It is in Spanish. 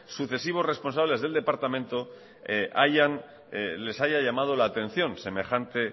sucesivos responsables del departamento les haya llamado la atención semejante